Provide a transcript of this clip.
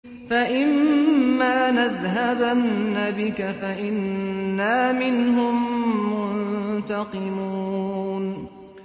فَإِمَّا نَذْهَبَنَّ بِكَ فَإِنَّا مِنْهُم مُّنتَقِمُونَ